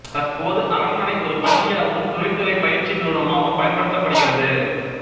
தற்போது அரண்மனை ஒரு பள்ளியாகவும் தொழில்துறை பயிற்சி நிறுவனமாகவும் பயன்படுத்தப்படுகிறது